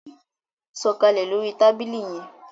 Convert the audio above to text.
Sọkalẹ lórí tábìlì yén!